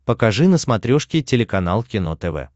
покажи на смотрешке телеканал кино тв